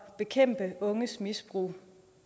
bekæmpe unges misbrug